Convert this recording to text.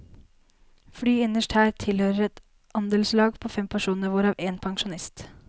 Flyet innerst her tilhører et andelslag på fem personer, hvorav en pensjonist.